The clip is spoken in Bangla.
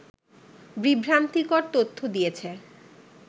বিভ্রান্তিকর তথ্য দিয়েছে